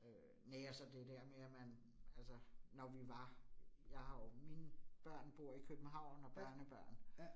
Øh næ, og så det der med at man altså, når vi var. Jeg har jo mine børn bor i København og børnebørn